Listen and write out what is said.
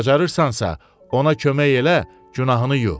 Bacarırsansa, ona kömək elə, günahını yu.